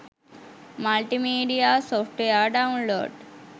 multimedia software download